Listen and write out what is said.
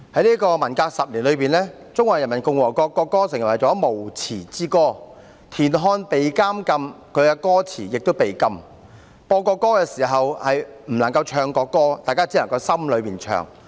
在文革10年中，中華人民共和國國歌成為了無詞之歌，田漢被禁，其詞亦被禁，播國歌不能唱國歌，只能在心裏唱。